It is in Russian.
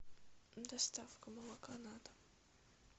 доставка молока на дом